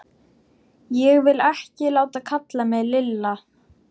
Ég vil ekki láta kalla mig Lilla!